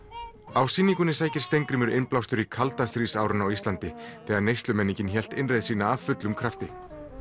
á sýningunni sækir Steingrímur innblástur í kaldastríðsárin á Íslandi þegar neyslumenningin hélt einmitt innreið sína af fullum krafti